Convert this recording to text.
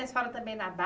A senhora também